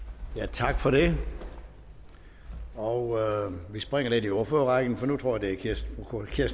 tak for det og vi springer lidt i ordførerrækken for nu tror jeg kirsten